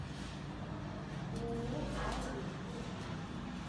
ооо аурум отзывы